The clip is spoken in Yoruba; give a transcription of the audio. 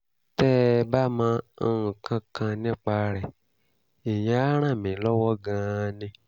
tẹ́ ẹ bá mọ nǹkan kan nípa rẹ̀ ìyẹn á ràn mí lọ́wọ́ gan-an ni